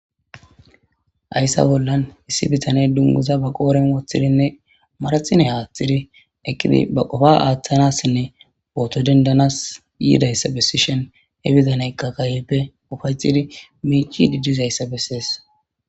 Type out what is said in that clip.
Hayssa bollan issi bitane dunguza ba qooren woththidinne marathine haaththidi eqqidi ba qofa aaththanassinne booto dendanas yiidayssa bessishen he bizaneyka kayepe ufacidi miici didizayssa bessees